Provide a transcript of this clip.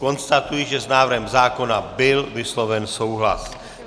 Konstatuji, že s návrhem zákona byl vysloven souhlas.